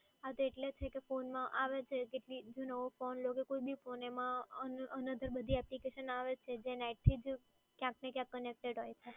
હા એટલે જ phone માં આવે છે કે જો નવો phone કે કોય બી phone માં another બધી application આવે છે જે net થી જ ક્યાંક ને ક્યાંક CONNECTED હોય છે.